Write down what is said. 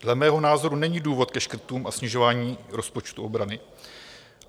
Dle mého názoru není důvod ke škrtům a snižování rozpočtu obrany.